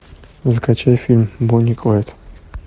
закачай фильм бонни и клайд